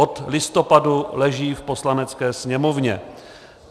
Od listopadu leží v Poslanecké sněmovně.